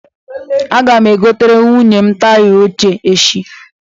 Aga m egotere nwunye m taya óché eshị